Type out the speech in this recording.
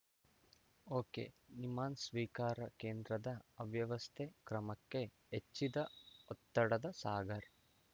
ಒಕೆನಿಮ್ಹಾನ್ಸ್‌ ಸ್ವೀಕಾರ ಕೇಂದ್ರದ ಅವ್ಯವಸ್ಥೆ ಕ್ರಮಕ್ಕೆ ಹೆಚ್ಚಿದ ಒತ್ತಡದ ಸಾಗರ್